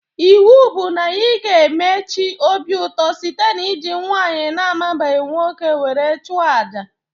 Iwu bụ na ị ga-eme chi obi ụtọ site n'iji nwaanyị na amabeghị nwoke were chụọ àjà!